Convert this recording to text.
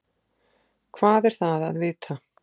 Hvað er það að vita?